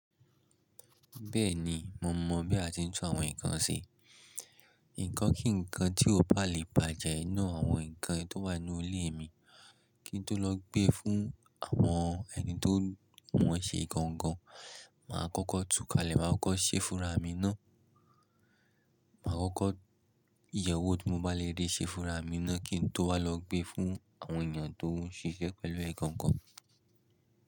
Bẹ́ẹ̀ni, mo mọ bí a ti ń tún àwọn nǹkan ṣe. Ǹkan kí ǹkan tí ó bá le bàjẹ́ nínú àwọn nǹkan tó wà nínú ilé mi, kí n tó lọ gbé fún àwọn ẹni tí wọ́n ń ṣe gangan, màá kọ́kọ́ tú kalẹ̀, màá kọ́kọ́ ṣe fúnra mi náà. Màá kọ́kọ́ yẹ̀ wó tí mo bá lè ríi ṣe fúnra mi náà kí n tó wà lọ gbé fún àwọn èèyàn tó ń ṣiṣẹ́ pẹ̀lú ẹ̀ gangan.